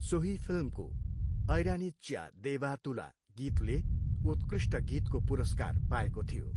सोही फिल्मको 'ऐरानिच्या देवा तुला' गीतले उत्कृष्ट गीतको पुरस्कार पाएको थियो।